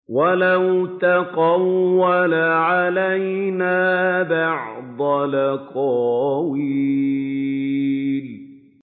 وَلَوْ تَقَوَّلَ عَلَيْنَا بَعْضَ الْأَقَاوِيلِ